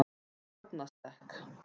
Fornastekk